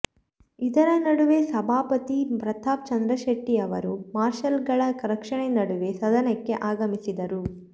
ಇದರ ನಡುವೆ ಸಭಾಪತಿ ಪ್ರತಾಪಚಂದ್ರಶೆಟ್ಟಿಅವರು ಮಾರ್ಷಲ್ಗಳ ರಕ್ಷಣೆ ನಡುವೆ ಸದನಕ್ಕೆ ಆಗಮಿಸಿದರು